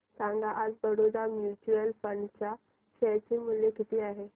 सांगा आज Baroda mutual fund च्या शेअर चे मूल्य किती आहे